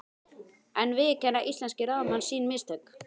En viðurkenna íslenskir ráðamenn sín mistök?